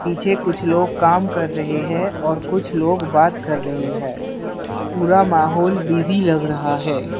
पिछे कुछ लोग काम कर रहे हैं और कुछ लोग बात कर रहे हैं पूरा माहौल बिजी लग रहा है।